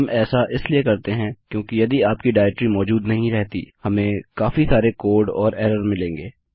हम ऐसा इसलिए करते हैं क्योंकि यदि आपकी डाइरेक्टरी मौजूद नहीं रहती हमें काफी सारे कोड और एरर मिलेंगे